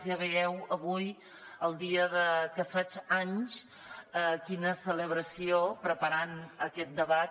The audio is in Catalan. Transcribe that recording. ja veieu avui el dia que faig anys quina celebració preparant aquest debat